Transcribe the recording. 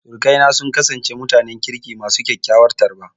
Sirikaina sun kasance mutanen kirki masu kyakkyawar tarba.